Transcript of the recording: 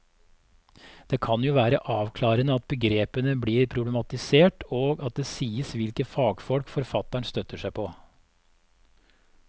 Det kan jo være avklarende at begrepene blir problematisert og at det sies hvilke fagfolk forfatteren støtter seg på.